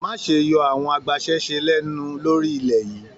Má ṣe yọ àwọn agbasẹ́se lẹnu lórí ilẹ yìí!